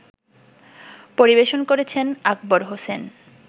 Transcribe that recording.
পরিবেশন করেছেন আকবর হোসেন